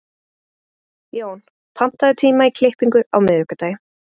Jón, pantaðu tíma í klippingu á miðvikudaginn.